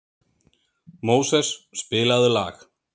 Móses, spilaðu lag.